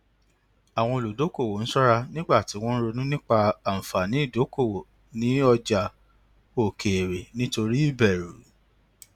àwọn olùdókòwò ń ṣọra nígbà tí wọn ronú nípa àǹfààní ìdókòwò ní ọjà òkèèrè nítorí ìbẹrù